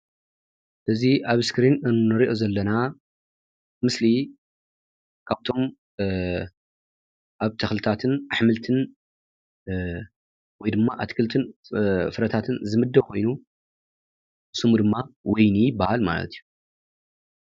እዚ ኣብ ስክሪን እንርእዮ ዘለና ምስሊ ካብቶም ኣብ ተኽልታትን ኣሕምልትን ወይ ድማ ኣትክልትን ፍረታትን ዝምድብ ኮይኑ ስሙ ድማ ወይኒ ይበሃል ማለት እዩ።